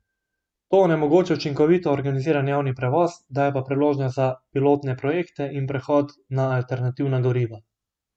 To onemogoča učinkovito organiziran javni prevoz, daje pa priložnost za pilotne projekte in prehod na alternativna goriva.